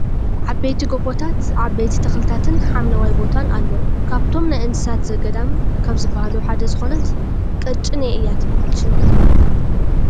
ዓበይቲ ጎቦታት ዓበይቲ ተክልታትን ሓምለዋይ ቦታን ኣሎ። ካብቶም ናይ እንስሳ ዘገዳም ካብ ዝብሃሉ ሓደ ዝኮነት ቅጭኔ እያ ትብሃል ሽማ ።